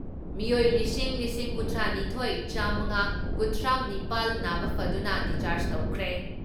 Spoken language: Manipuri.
ꯃꯤꯑꯣꯏ ꯂꯤꯁꯤꯡ ꯂꯤꯁꯤꯡ ꯀꯨꯟꯊ꯭ꯔꯥ ꯅꯤꯊꯣꯏ ꯆꯥꯝꯉꯥ ꯀꯨꯟꯊ꯭ꯔꯥ ꯅꯤꯄꯥꯜ ꯅꯥꯕ ꯐꯗꯨꯅ ꯗꯤꯁꯆꯥꯔꯖ ꯇꯧꯈ꯭ꯔꯦ ꯫